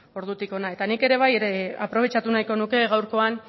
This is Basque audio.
ordutik hona eta nik ere bai ere aprobetxatu nahiko nuke gaurkoan